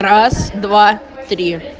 раз два три